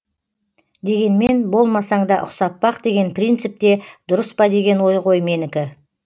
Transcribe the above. дегенмен болмасаң да ұқсап бақ деген принцип те дұрыс па деген ой ғой менікі